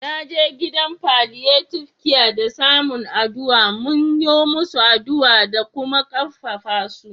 Na je gidan palliative care da masun aduwa, mun yo musu aduwa da kuma karfafa su.